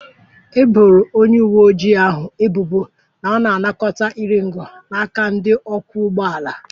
E boro onye uwe ojii ahụ ebubo na ọ na-anakọta iri ngo n'aka ndị ọkwọ ụgbọ ala